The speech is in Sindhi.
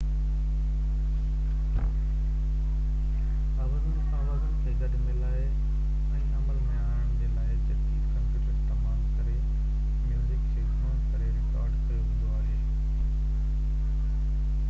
آوازن کي گڏ ملائي ۽ عمل ۾ آڻڻ جي لاءِ جديد ڪمپيوٽر استعمال ڪري ميوزڪ کي گهڻو ڪري رڪارڊ ڪيو ويندو آهي